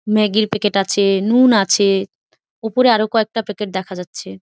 Maggi -র packet আছে নুন আছে উপরে আরো কয়েকটা প্যাকেট দেখা যাচ্ছে।